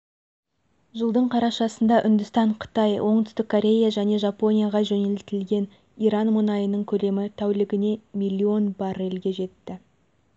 жылдың қарашасында үндістан қытай оңтүстік корея және жапонияға жөнелтілген иран мұнайының көлемі тәулігіне миллион баррельге жетті